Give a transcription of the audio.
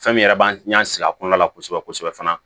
Fɛn min yɛrɛ b'an y'an sigi a kɔnɔna la kosɛbɛ kosɛbɛ kosɛbɛ fana